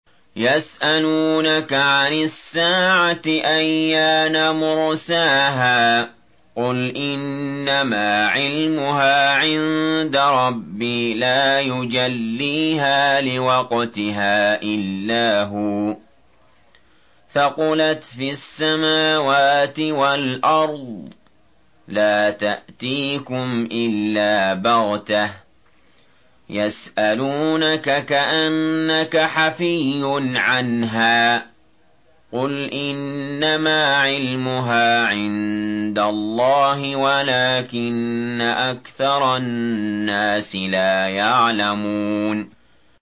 يَسْأَلُونَكَ عَنِ السَّاعَةِ أَيَّانَ مُرْسَاهَا ۖ قُلْ إِنَّمَا عِلْمُهَا عِندَ رَبِّي ۖ لَا يُجَلِّيهَا لِوَقْتِهَا إِلَّا هُوَ ۚ ثَقُلَتْ فِي السَّمَاوَاتِ وَالْأَرْضِ ۚ لَا تَأْتِيكُمْ إِلَّا بَغْتَةً ۗ يَسْأَلُونَكَ كَأَنَّكَ حَفِيٌّ عَنْهَا ۖ قُلْ إِنَّمَا عِلْمُهَا عِندَ اللَّهِ وَلَٰكِنَّ أَكْثَرَ النَّاسِ لَا يَعْلَمُونَ